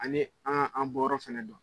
Ani aan an bɔyɔrɔ fɛnɛ dɔn.